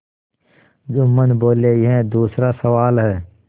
जुम्मन बोलेयह दूसरा सवाल है